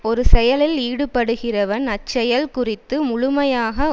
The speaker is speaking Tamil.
ஒரு செயலில் ஈடுபடுகிறவன் அச்செயல் குறித்து முழுமையாக